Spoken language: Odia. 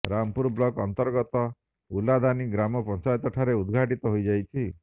ରାମପୁର ବ୍ଲକ ଅନ୍ତର୍ଗତ ଉର୍ଲାଦାନୀ ଗ୍ରାମ ପଂଚାୟତଠାରେ ଉଦଘାଟିତ ହେଇଯାଇଛି